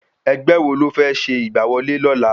Ẹgbẹ́ wo lófẹ́ ṣe ìgbà wọlé lọla?